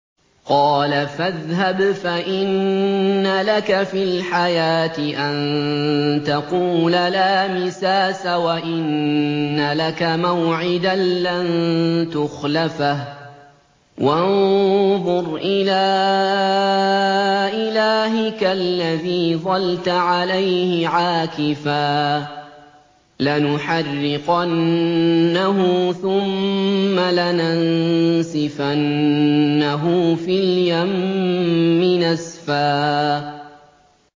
قَالَ فَاذْهَبْ فَإِنَّ لَكَ فِي الْحَيَاةِ أَن تَقُولَ لَا مِسَاسَ ۖ وَإِنَّ لَكَ مَوْعِدًا لَّن تُخْلَفَهُ ۖ وَانظُرْ إِلَىٰ إِلَٰهِكَ الَّذِي ظَلْتَ عَلَيْهِ عَاكِفًا ۖ لَّنُحَرِّقَنَّهُ ثُمَّ لَنَنسِفَنَّهُ فِي الْيَمِّ نَسْفًا